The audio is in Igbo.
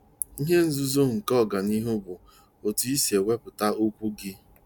Ihe nzuzo nke ọganihu bụ otu i si ewepụta okwu gị!